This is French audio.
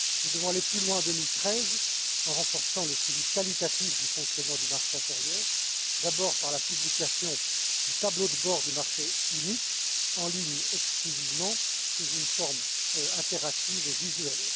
Nous devons aller plus loin en 2013, en renforçant le suivi qualitatif du fonctionnement du marché intérieur, d'abord par la publication du tableau de bord du marché unique, exclusivement en ligne, sous une forme interactive et visuelle.